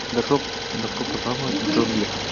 добро пожаловать в джунгли